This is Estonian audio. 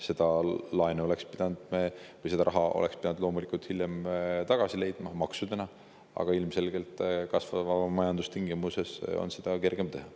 Selle raha me oleks loomulikult pidanud hiljem maksudena tagasi, aga kasvava majanduse tingimustes oleks seda ilmselgelt olnud kergem teha.